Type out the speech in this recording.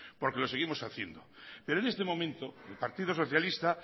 porque lo seguimos haciendo pero en este momento el partido socialista